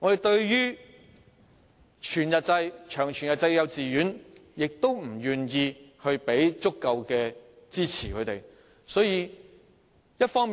對於全日制及長全日制的幼稚園，政府亦不願意提供足夠的支持。